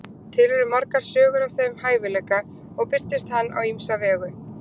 Til eru margar sögur af þeim hæfileika og birtist hann á ýmsa vegu.